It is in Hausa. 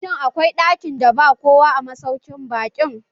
Shin, akwai ɗakin da ba kowa a masaukin baƙin?